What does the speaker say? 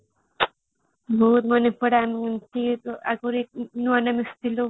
ମୋର ମନେ ପଡେ ଆମେ ଏମିତେ ନୂଆ ନୂଆ ମିସୁଥିଲୁ